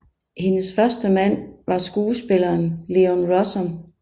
Hendes første mand var skuespilleren Leon Russom